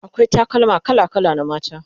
akwai takalma kala kala na mata